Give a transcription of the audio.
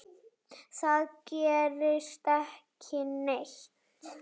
Það gerist ekki neitt.